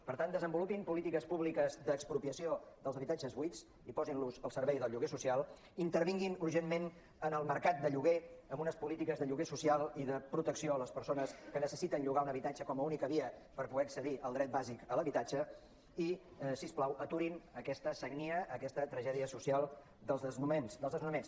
per tant desenvolupin polítiques públiques d’expropiació dels habitatges buits i posin·los al servei del lloguer social intervinguin urgentment en el mercat de llo·guer amb unes polítiques de lloguer social i de protecció a les persones que necessi·ten llogar un habitatge com a única via per poder accedir al dret bàsic de l’habitatge i si us plau aturin aquesta sagnia aquesta tragèdia social dels desnonaments